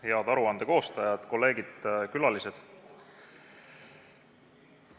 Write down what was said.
Head aruande koostajad, kolleegid, külalised!